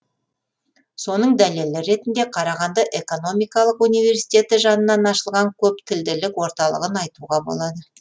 соның дәлелі ретінде қарағанды экономикалық университеті жанынан ашылған көптілділік орталығын айтуға болады